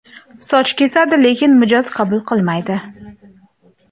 Soch kesadi, lekin mijoz qabul qilmaydi.